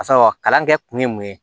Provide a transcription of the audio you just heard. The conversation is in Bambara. Ka sɔrɔ kalan kɛ kun ye mun ye